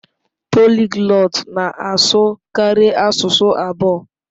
Poliglọt na-asụ karịa asụsụ abụọ.